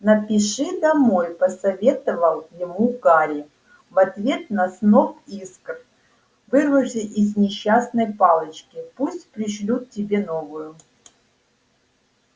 напиши домой посоветовал ему гарри в ответ на сноп искр вырвавший из несчастной палочки пусть пришлют тебе новую